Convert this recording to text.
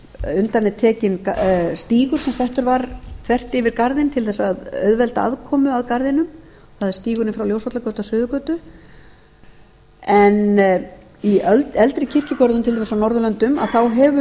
ef undan er tekinn stígur sem settur var þvert yfir garðinn til þess að auðvelda aðkomu að garðinum það er stígurinn frá ljósvallagötu að suðurgötu en í eldri kirkjugörðum til dæmis á norðurlöndum þá hafa